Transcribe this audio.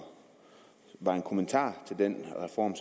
det var en kommentar til den reform